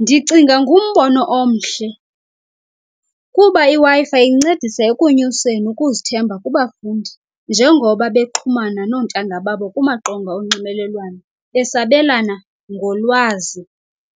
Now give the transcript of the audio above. Ndicinga ngumbono omhle kuba iWi-Fi incedisa ekunyuseni ukuzithemba kubafundi njengoba bexhumana noontanga babo kumaqonga onxibelelwano besabelana ngolwazi